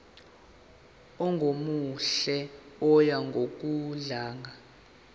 ongemuhle oya ngokudlanga